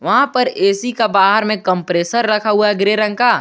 वहां पर ए_सी का बाहर में कंप्रेसर रखा हुआ है ग्रे रंग का।